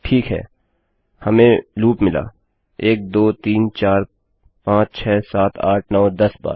ठीक है हमें लूप मिला १२३४५६७८९१० बार